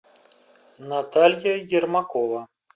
наталья ермакова